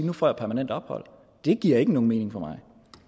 du få permanent ophold det giver ikke nogen mening for mig